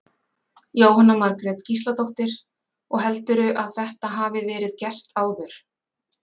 Jóhanna Margrét Gísladóttir: Og heldurðu að þetta hafi verið gert áður?